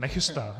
Nechystá.